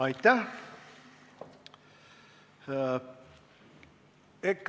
Aitäh!